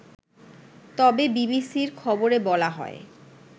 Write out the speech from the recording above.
তবে বিবিসির খবরে বলা হয়